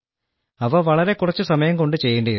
അവ വളരെ കുറച്ചു സമയം കൊണ്ട് ചെയ്യേണ്ടിയിരുന്നു